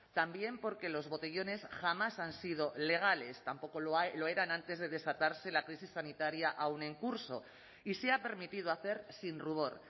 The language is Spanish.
también porque los botellones jamás han sido legales tampoco lo eran antes de desatarse la crisis sanitaria aún en curso y se ha permitido hacer sin rubor